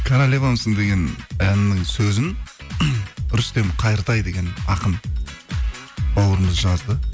королевамсың деген әннің сөзін рүстем қайыртай деген ақын бауырымыз жазды